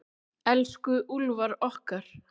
Elsku Úlfar okkar.